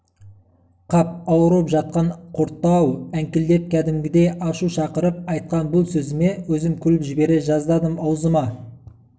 -қап ауырып жатқанда құртты-ау әңкілдеп кәдімгідей ашу шақырып айтқан бұл сөзіме өзім күліп жібере жаздадым аузыма